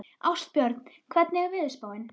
Ástbjörn, hvernig er veðurspáin?